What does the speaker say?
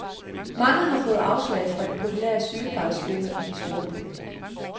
Mange har fået afslag fra de populære sygeplejeskoler i de store byer.